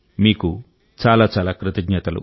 మీకు చాలా చాలా కృతజ్ఞతలు